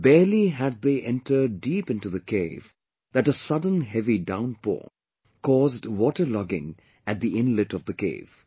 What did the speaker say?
Barely had they entered deep into the cave that a sudden heavy downpour caused water logging at the inlet of the cave